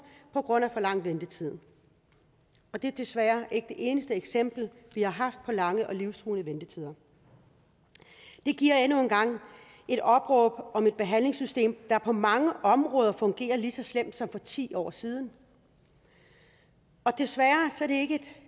på grund af for lang ventetid det er desværre ikke det eneste eksempel vi har haft på lange og livstruende ventetider det giver endnu en gang et opråb om et behandlingssystem der på mange områder fungerer lige så slemt som for ti år siden desværre